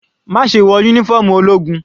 Má ṣe wọ uniform ológun.